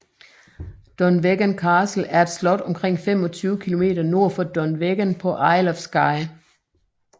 Dunvegan Castle er et slot omkring 25 km nord for Dunvegan på Isle of Skye